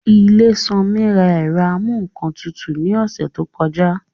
Ilésanmí ra ẹ̀rọ amúǹkantutù ní ọ̀sẹ̀ tó kọjá